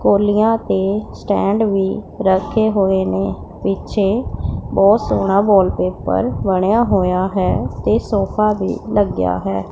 ਕੌਲੀਆਂ ਤੇ ਸਟੈਂਡ ਵੀ ਰੱਖੇ ਹੋਏ ਨੇਂ ਪਿੱਛੇ ਬਹੁਤ ਸੋਹਣ ਵੋਲਪੇਪਰ ਬਣਿਆ ਹੋਇਆ ਹੈ ਤੇ ਸੋਫਾ ਵੀ ਲੱਗਿਆ ਹੈ।